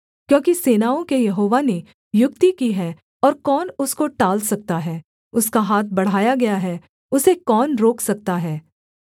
क्योंकि सेनाओं के यहोवा ने युक्ति की है और कौन उसको टाल सकता है उसका हाथ बढ़ाया गया है उसे कौन रोक सकता है